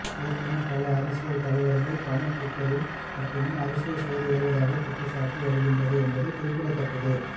ஏற்கனவே பல அரசியல் தலைவர்கள் கமல் டுவிட்டரில் மட்டுமே அரசியல் செய்து வருவதாக குற்றஞ்சாட்டி வருகின்றனர் என்பது குறிப்பிடத்தக்கது